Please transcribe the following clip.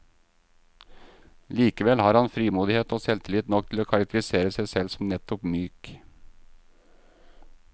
Likevel har han frimodighet og selvtillit nok til å karakterisere seg selv som nettopp myk.